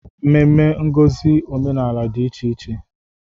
Ememme ngosi omenala dị iche iche.